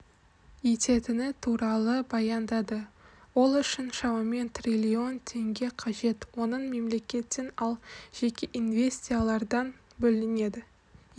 ететіні туралы баяндады ол үшін шамамен триллион теңге қажет оның мемлекеттен ал жеке инвестициялардан бөлінеді